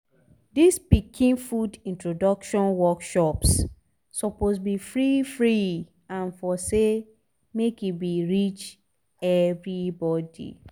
dis pikin food introduction workshops suppose be free-free and for say make e reach everybody